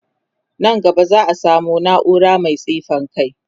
Nan gaba za'a samu naura Mai tsifan kai